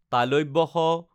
শ